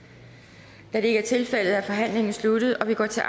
er det ikke er tilfældet er forhandlingen sluttet og vi går til